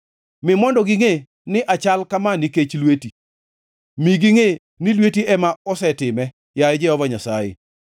Mi mondo gingʼe ni achal kama nikech lweti, mi gingʼe ni lweti ema osetime, yaye Jehova Nyasaye.